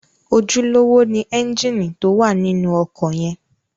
Ojúlówó ni ẹ́ńgìnì tó wà nínú ọkọ̀ yẹn.